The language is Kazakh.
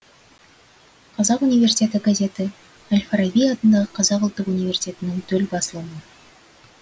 қазақ университеті газеті әл фараби атындағы қазақ ұлттық университетінің төл басылымы